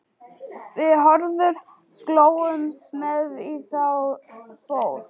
Við Hörður slógumst með í þá för.